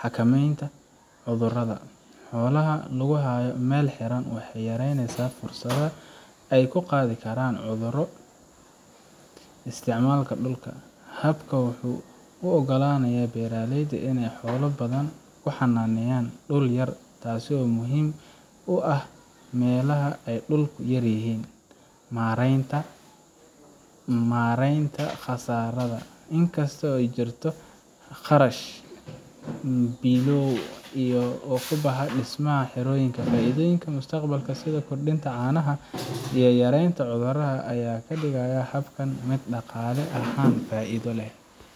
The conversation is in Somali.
Xakamaynta Cudurrada: Xoolaha oo la hayo meel xiran waxay yareynaysaa fursadda ay ku qaadi karaan cudurro Isticmaalka Dhulka: Habkan wuxuu u oggolaanayaa beeraleyda inay xoolo badan ku xanaaneeyaan dhul yar, taasoo muhiim u ah meelaha ay dhulku yaryahay. Maareynta Kharashyada: Inkasta oo ay jirto kharash bilow ah oo ku baxa dhismaha xerooyinka, faa'iidooyinka mustaqbalka sida kordhinta caanaha iyo yareynta cudurrada ayaa ka dhigaya habkan mid dhaqaale ahaan faa'iido leh.